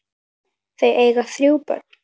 Þau eiga þrjú börn.